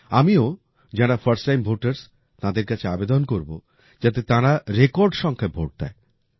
আমিও যাঁরা first time voters তাঁদের কাছে আবেদন করবো যাতে তাঁরা রেকর্ড সংখ্যায় ভোট দেয়